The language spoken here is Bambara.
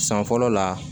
San fɔlɔ la